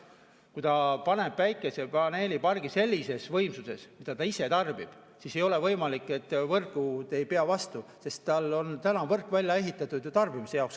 Kui ta paneb päikesepaneelipargi sellises võimsuses, mida ta ise tarbib, siis ei ole võimalik, et võrgud ei pea vastu, sest tal on täna võrk välja ehitatud ju enda tarbimise jaoks.